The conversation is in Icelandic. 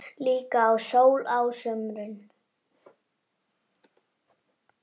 Líka í sól á sumrin.